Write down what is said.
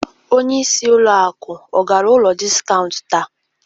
Onyeisi ụlọakụ ọ gara ụlọ dịskaunt taa?